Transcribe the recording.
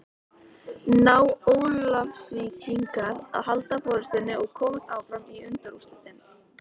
Ná Ólafsvíkingar að halda forystunni og komast áfram í undanúrslitin?